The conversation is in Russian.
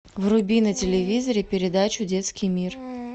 вруби на телевизоре передачу детский мир